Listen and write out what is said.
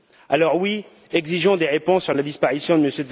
Alors, oui, exigeons des réponses sur la disparition de M.